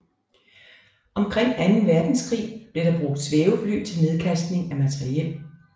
Omkring anden verdenskrig blev der brugt svævefly til nedkastning af materiel